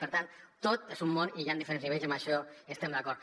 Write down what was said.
per tant tot és un món i hi han diferents nivells i amb això hi estem d’acord